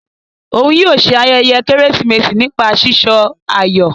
Òún yóò ṣe ayẹyẹ Kérésìmesì nípa sísọ ayọ.